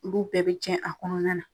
Olu bɛɛ be tiɲɛ a kɔnɔna na.